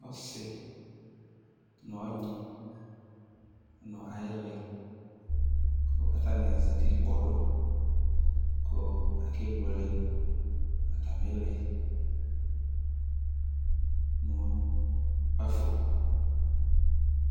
Ɔsi n'ɔgni nʋ ɛyilɛ k'atani azati kpɔdʋ kʋ abuele nʋ atami lɛ n'ʋkpafo